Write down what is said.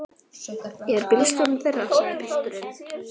Ég er bílstjóri þeirra, sagði pilturinn.